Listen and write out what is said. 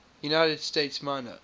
united states minor